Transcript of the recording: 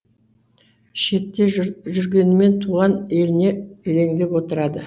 шетте жүргенімен туған еліне елеңдеп отырады